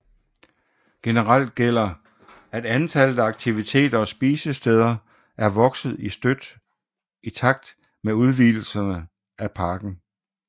Generelt gælder at antallet af aktiviteter og spisesteder er vokset støt i takt med udvidelserne af parken